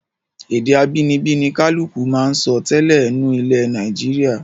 Èdè abínibí ni kálùkù máa ń sọ tẹ́lẹ̀ nù ilẹ̀ Nàìjíríà